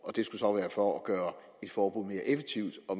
og det skulle så være for at gøre et forbud mere effektivt og